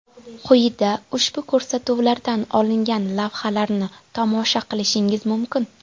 Quyida ushbu ko‘rsatuvlardan olingan lavhalarni tomosha qilishingiz mumkin.